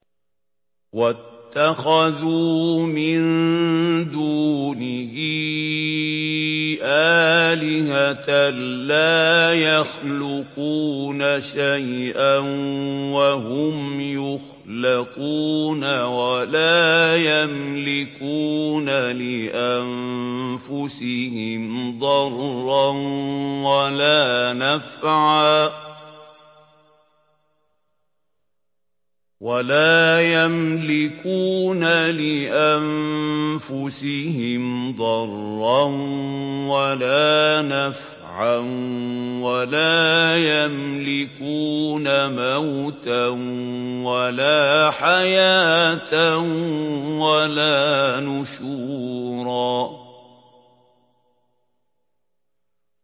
وَاتَّخَذُوا مِن دُونِهِ آلِهَةً لَّا يَخْلُقُونَ شَيْئًا وَهُمْ يُخْلَقُونَ وَلَا يَمْلِكُونَ لِأَنفُسِهِمْ ضَرًّا وَلَا نَفْعًا وَلَا يَمْلِكُونَ مَوْتًا وَلَا حَيَاةً وَلَا نُشُورًا